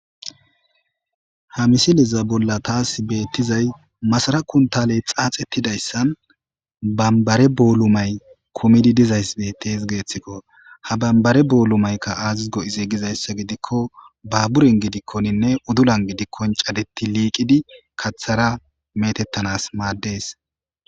Ha misileza bolla taasi beettizay masara kuntaale xaaxettidayssan bambare boolu may kumidi dizayss dettees. geeththikko ha bambare boolumaykka aazis go7iziigizayssa gidikko baaburen gidikkoninne udulan gidikkon cadetti liiqidi kathara metettanas maaddees.